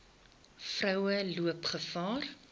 vroue loop gevaar